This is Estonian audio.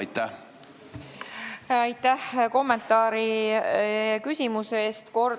Aitäh kommentaari ja küsimuse eest!